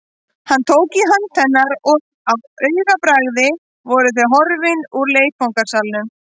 Hann tók í hönd hennar og á augabragði voru þau horfin úr leikfangasalnum.